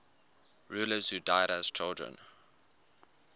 rulers who died as children